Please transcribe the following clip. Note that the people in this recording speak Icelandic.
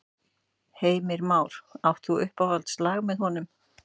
Heimir Már: Átt þú uppáhaldslag með honum?